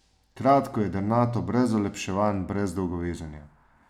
Kratko, jedrnato, brez olepševanj, brez dolgovezenja.